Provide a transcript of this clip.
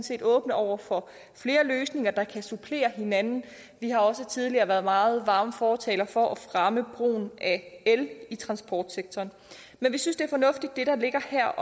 set åbne over for flere løsninger der kan supplere hinanden vi har også tidligere været meget varme fortalere for at fremme brugen af el i transportsektoren men vi synes at det der ligger her